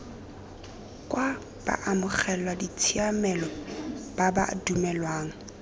kwa baamogeladitshiamelo ba ba dumelelwang